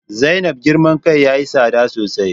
Zainab girman kai yayi tsada sosai